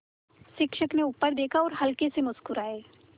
शिक्षक ने ऊपर देखा और हल्के से मुस्कराये